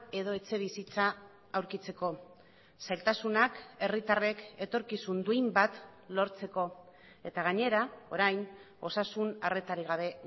edo etxebizitza aurkitzeko zailtasunak herritarrek etorkizun duin bat lortzeko eta gainera orain osasun arretarik gabe